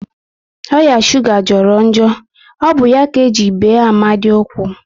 Oya shuga jọrọ njọ, ọ bụ ya ka eji bee Amadi ụkwụ